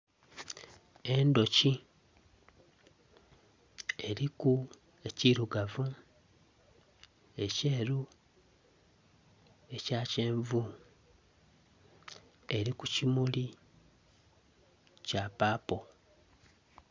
Endhoki eliku ekilugavu, ekyeru, ekya kyenvu eli ku kimuli kya papo